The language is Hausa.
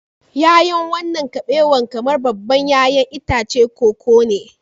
Ya'yan wannan kabewa kamar babban 'ya'yan itacen koko ne